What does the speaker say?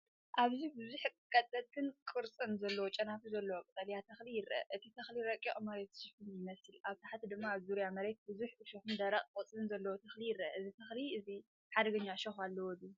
ኣብዚ ብዙሕ ቀጠንቲን ቅርጽን ዘለዎ ጨናፍር ዘለዎ ቀጠልያ ተኽሊ ይርአ። እቲ ተኽሊ ረቂቕ መሬት ዝሽፍን ይመስል። ኣብ ታሕቲ ድማ ኣብ ዙርያ መሬት ብዙሕ እሾኽን ደረቕ ቆጽልን ዘለዎ ተኽሊ ይርአ። እዚ ተኽሊ እዚ ሓደገኛ እሾኽ ኣለዎ ድዩ?